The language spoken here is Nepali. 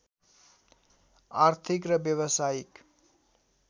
आर्थिक र व्यावसायिक